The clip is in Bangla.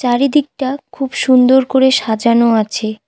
চারিদিকটা খুব সুন্দর করে সাজানো আছে।